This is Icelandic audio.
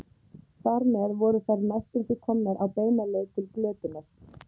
Þar með voru þær næstum því komnar á beina leið til glötunar.